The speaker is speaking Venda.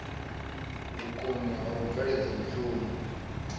vhukoni ha u bveledza mushumo